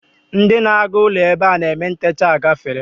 Ndị na-aga ụlọ ebe a na-eme ntecha agafeela